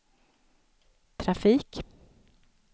trafik